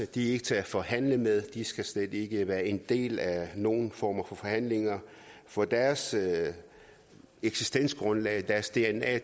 de er ikke til at forhandle med de skal slet ikke være en del af nogen form for forhandling for deres eksistensgrundlag deres dna